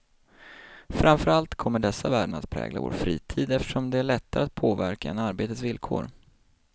Framför allt kommer dessa värden att prägla vår fritid, eftersom den är lättare att påverka än arbetets villkor.